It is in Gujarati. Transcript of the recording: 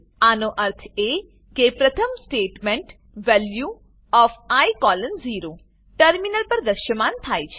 આનો અર્થ એ કે પ્રથમ statement value O F I colon 0 terminal પર દ્રશ્યમાન થાય છે